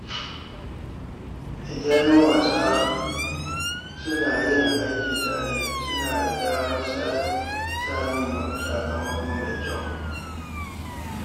Idan ‘yan wasa suna yin aiki tare, suna da damar samun sakamako mafi kyau.